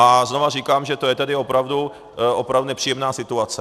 A znovu říkám, že to je tedy opravdu nepříjemná situace.